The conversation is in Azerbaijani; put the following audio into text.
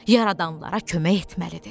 Yaradanlara kömək etməlidir.